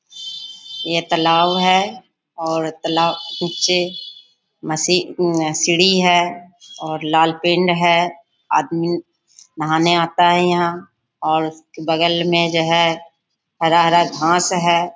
ये तालाब है और तालाब कुछ सीढ़ी है और लाल पिंड है आदमी नहाने आता है यहाँ और बगल में जो है हरा-हरा घास है।